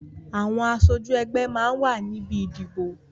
Àwọn aṣojú ẹgbẹ́ máa ń wà níbi ìdìbò